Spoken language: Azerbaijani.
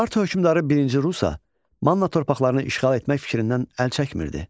Urartu hökmdarı birinci Rusa Manna torpaqlarını işğal etmək fikrindən əl çəkmirdi.